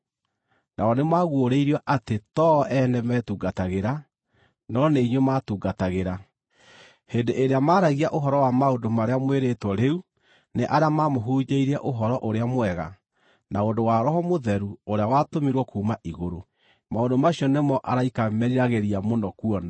Nao nĩmaguũrĩirio atĩ to o ene meetungatagĩra, no nĩ inyuĩ maatungatagĩra, hĩndĩ ĩrĩa maaragia ũhoro wa maũndũ marĩa mwĩrĩtwo rĩu nĩ arĩa maamũhunjĩirie Ũhoro-ũrĩa-Mwega na ũndũ wa Roho Mũtheru ũrĩa watũmirwo kuuma igũrũ. Maũndũ macio nĩmo araika meriragĩria mũno kuona.